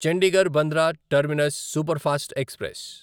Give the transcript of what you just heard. Chandigarh Bandra terminus superfast express